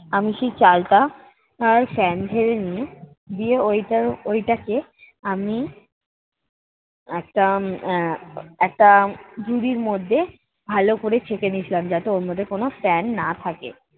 আমি সেই চালটা আর ফ্যান ঝেড়ে নিয়ে দিয়ে ওইটার ওইটাকে আমি একটা আহ একটা ঝুড়ির মধ্যে ভালো করে ছেঁকে নিয়েছিলাম যাতে ওর মধ্যে কোনো ফ্যান না থাকে।